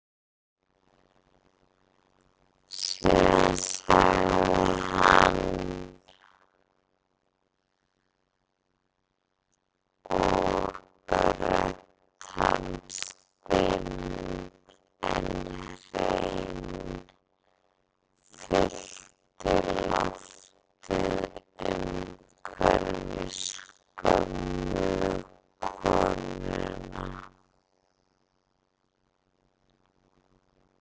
Síðan sagði hann og rödd hans dimm en hrein fyllti loftið umhverfis gömlu konuna